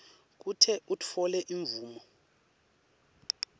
kute utfole imvume